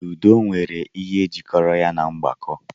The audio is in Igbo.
Ludo nwere ihe jikọrọ ya na mgbako.